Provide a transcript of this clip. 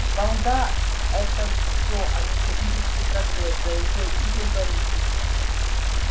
балда это все а не технический прогресс заявил игорь борисович